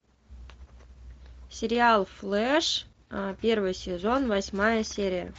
сериал флэш первый сезон восьмая серия